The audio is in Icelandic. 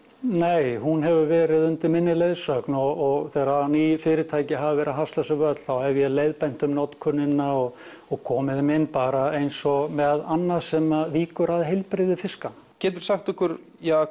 nei hún hefur verið undir minni leiðsögn og þegar ný fyrirtæki hafa verið að hasla sér völl þá hef ég leiðbeint um notkunina og og komið þeim inn bara eins og með annað sem víkur að heilbrigði fiska geturðu sagt okkur